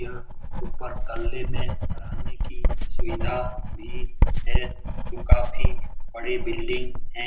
यह ऊपर तल्ले में रहने की सुविधा भी है जो काफी बड़ी बिल्डिंग है।